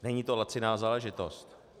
Není to laciná záležitost.